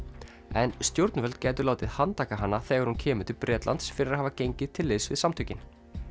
en stjórnvöld gætu látið handtaka hana þegar hún kemur til Bretlands fyrir að hafa gengið til liðs við samtökin